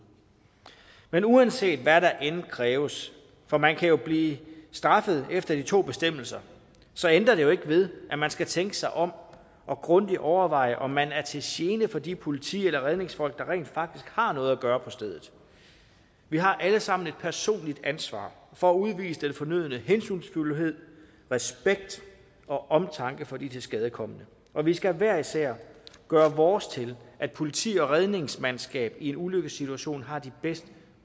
men uanset hvad der end kræves for man kan jo blive straffet efter de to bestemmelser så ændrer det ikke ved at man skal tænke sig om og grundigt overveje om man er til gene for de politi eller redningsfolk der rent faktisk har noget at gøre på stedet vi har alle sammen et personligt ansvar for at udvise den fornødne hensynsfuldhed respekt og omtanke for de tilskadekomne og vi skal hver især gøre vores til at politi og redningsmandskab i en ulykkessituation har de bedst